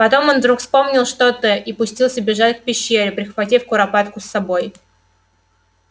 потом он вдруг вспомнил что-то и пустился бежать к пещере прихватив куропатку с собой